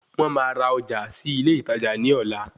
Wọ́n máa ra ọjà sí ilé ìtajà ní ọ̀la